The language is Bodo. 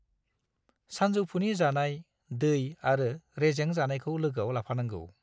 सानजौफुनि जानाय, दै आरो रेजें जानायखौ लोगोआव लांफानांगौ।